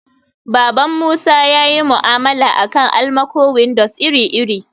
baban musa yayi mu'amala akan almaco-windows iri-iri